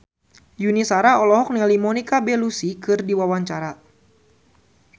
Yuni Shara olohok ningali Monica Belluci keur diwawancara